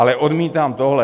Ale odmítám tohle.